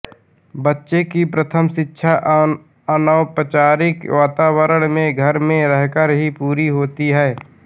बच्चे की प्रथम शिक्षा अनौपचारिक वातावरण में घर में रहकर ही पूरी होती है